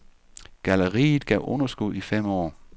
Galleriet gav underskud i fem år.